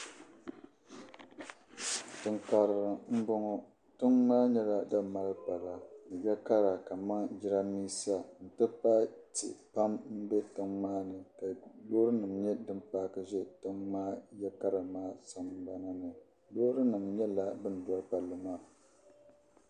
Tiŋ' karili m-bɔŋɔ. Tiŋa maa nyɛla dim mali pala ni ya kara kamani jidambiisa nti pahi tihi pam m-be tiŋa maa ni ka loorinima nyɛ dim paaki za ya kara maa sambana ni. Loorinima nyɛla din doli palli maa.